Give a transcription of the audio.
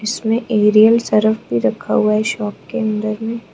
इसमें Ariel Surf भी रखा हुआ है इस शॉप के अंदर मे--